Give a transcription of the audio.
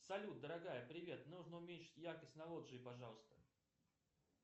салют дорогая привет нужно уменьшить яркость на лоджии пожалуйста